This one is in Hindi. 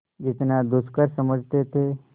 जितना दुष्कर समझते थे